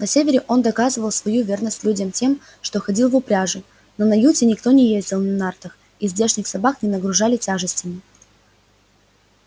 на севере он доказывал свою верность людям тем что ходил в упряжи но на юзе никто не ездил на нартах и здешних собак не нагружали тяжестями